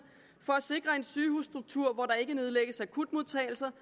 for at sikre en sygehusstruktur hvor der ikke nedlægges akutmodtagelser